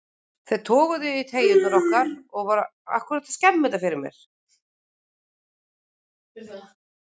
Þeir toguðu í treyjurnar okkar og voru að brjóta á okkur allan leikinn.